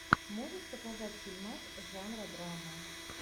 можешь показать фильмас жанра драма